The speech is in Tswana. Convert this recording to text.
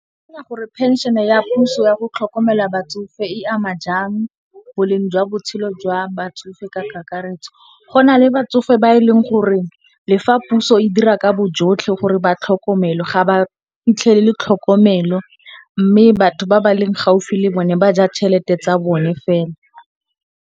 O akanya gore phenšene ya puso ya go tlhokomela batsofe e ama jang boleng jwa botshelo jwa batsofe ka kakaretso? Go na le batsofe ba e leng gore le fa puso e dira ka bojotlhe gore ba tlhokomelwe ga ba fitlhelele tlhokomelo mme, batho ba ba leng gaufi le bone ba ja tšhelete tsa bone fela.